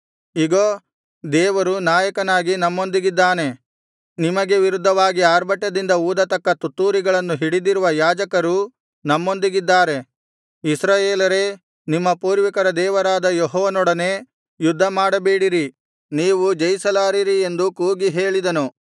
ಇಗೋ ದೇವರು ನಾಯಕನಾಗಿ ನಮ್ಮೊಂದಿಗಿದ್ದಾನೆ ನಿಮಗೆ ವಿರುದ್ಧವಾಗಿ ಅರ್ಭಟದಿಂದ ಊದತಕ್ಕ ತುತ್ತೂರಿಗಳನ್ನು ಹಿಡಿದಿರುವ ಯಾಜಕರೂ ನಮ್ಮೊಂದಿಗಿದ್ದಾರೆ ಇಸ್ರಾಯೇಲರೇ ನಿಮ್ಮ ಪೂರ್ವಿಕರ ದೇವರಾದ ಯೆಹೋವನೊಡನೆ ಯುದ್ಧ ಮಾಡಬೇಡಿರಿ ನೀವು ಜಯಿಸಲಾರಿರಿ ಎಂದು ಕೂಗಿ ಹೇಳಿದನು